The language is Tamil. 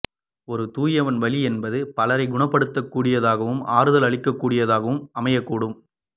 ஒரு தூயவனின் வலி என்பது பலரை குணப்படுத்தக்கூடியதாகவும் ஆறுதல் அளிக்கக்கூடியதாகவும் அமையக்கூடும்